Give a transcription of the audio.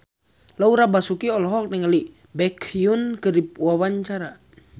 Laura Basuki olohok ningali Baekhyun keur diwawancara